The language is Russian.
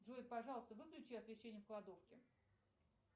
джой пожалуйста выключи освещение в кладовке